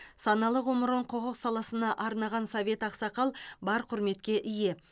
саналы ғұмырын құқық саласына арнаған совет ақсақал бар құрметке ие